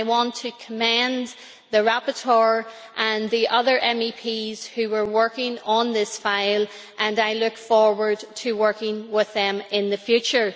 I want to commend the rapporteur and the other MEPs who were working on this file, and I look forward to working with them in the future.